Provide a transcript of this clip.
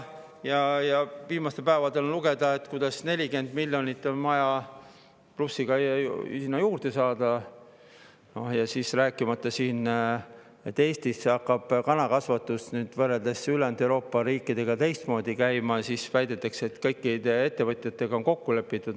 Viimastel päevadel oli lugeda, kuidas 40 ja pluss miljonit on vaja sinna juurde saada, rääkimata sellest, et Eestis hakkab kanakasvatus ülejäänud Euroopa riikidest teistmoodi käima ja väidetakse, et kõikide ettevõtjatega on kokku lepitud.